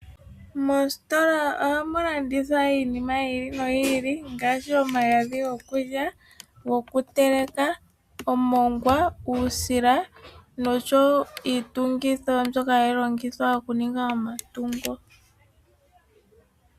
Moositola ohamulandithwa iinima oyindji ngaashi; omagadhi gokuteleka, omongwa, uusila nosho wo iitungitho mbyoka hayi longithwa okutunga omatungo.